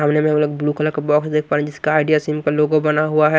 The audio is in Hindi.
गमले में हम लोग ब्लू कलर का बॉक्स देख पा रहे हैं जिसका आइडिया सिम का लोगो बना हुआ है।